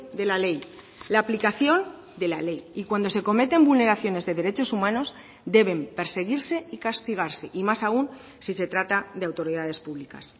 de la ley la aplicación de la ley y cuando se cometen vulneraciones de derechos humanos deben perseguirse y castigarse y más aún si se trata de autoridades públicas